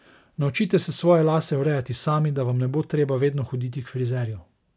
Naučite se svoje lase urejati sami, da vam ne bo treba vedno hoditi k frizerju.